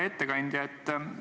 Hea ettekandja!